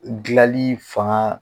Dilali fanga